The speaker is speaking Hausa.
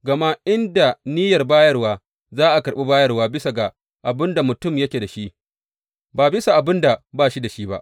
Gama in da niyyar bayarwa, za a karɓi bayarwa bisa ga abin da mutum yake da shi, ba bisa ga abin da ba shi da shi ba.